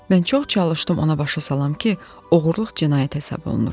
Mən çox çalışdım ona başa salam ki, oğurluq cinayət hesab olunur.